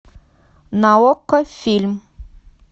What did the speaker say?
на окко фильм